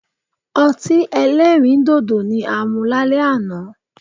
Ọti ẹlẹ́rìndòdò ni a mu lalẹ ana